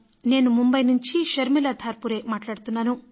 నేను ముంబై నుంచి శర్మిలా ధార్పురేను మాట్లాడుతున్నాను